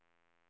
Boliden